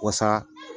Wasa